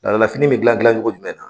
Laada la fini bɛ gilan gilan cogo jumɛn na?